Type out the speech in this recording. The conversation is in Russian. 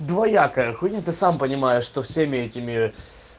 двоякая хуйне ты сам понимаешь что всеми этими